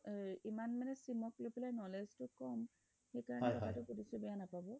ইমান মানে sim ক লৈ পেলাই knowledge টো কম সেইকাৰণে কথা টো সোধিছো বেয়া নাপাব